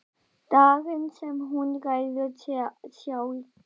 Daginn sem hún ræður sér sjálf.